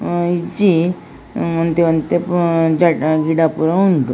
ಹ್ಮ್ ಇಜ್ಜಿ ಒಂತಿ ಒಂತಿ ಗಿಡ ಪೂರ ಉಂಡು.